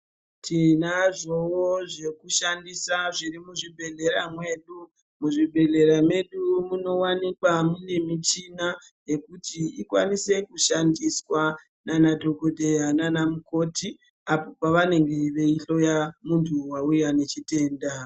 Tinazvowo zvekushandisa zviri muzvibhedhlera mwedu, muzvibhedhlera medu munowanikwa mune michina yekuti ikwanise kushandiswa nana dhokodheya nana mukoti, apo pavanenge veyihloya muntu wauya nechitenda.